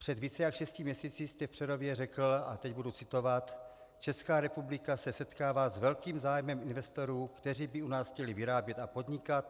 Před více jak šesti měsíci jste v Přerově řekl - a teď budu citovat: "Česká republika se setkává s velkým zájmem investorů, kteří by u nás chtěli vyrábět a podnikat.